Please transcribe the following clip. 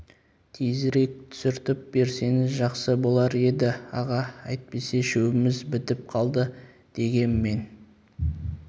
тезірек түсіртіп берсеңіз жақсы болар еді аға әйтпесе шөбіміз бітіп қалды дегем мен